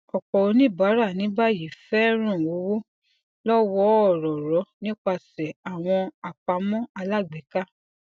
ọpọ oníbàárà ní báyìí fẹ rán owó lọwọọrọọrọ nípasẹ àwọn àpamọ alágbèéká